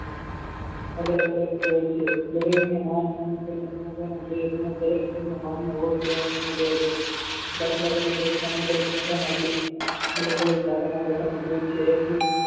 અલગ અલગ હોય છે દરેકને માન તેને સમજવાનો દરેક સમાજ દરેક જૂથનો માન્ય હોય તેવા નિર્ણયો લેવા જોઈએ દાખલ તરીકે સામુદાયિક સંગઠન અલગ અલગ જાતિના લોકોનું જૂથ છે એક જૂથ